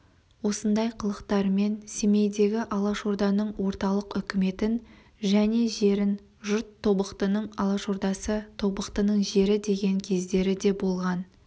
осындай қылықтарынан семейдегі алашорданың орталық үкіметін және жерін жұрт тобықтының алашордасы тобықтының жері деген кездері де болған